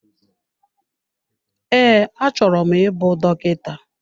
Ee, achọrọ m ịbụ dọkịta.